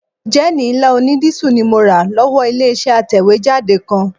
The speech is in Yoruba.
Jẹ́ẹ̀nì ńlá onídísù ni mo rà lọ́wọ́ ilé-iṣẹ́ atẹ̀wéjáde kan